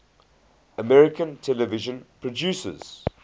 american television producers